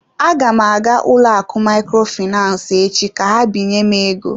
Aga m aga ụlọakụ Microfinance echi ka ha binye m ego.